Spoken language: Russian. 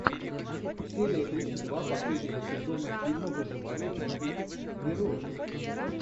серия тридцать два последнего сезона фильма выживание в дикой природе